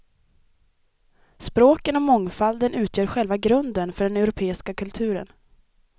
Språken och mångfalden utgör själva grunden för den europeiska kulturen.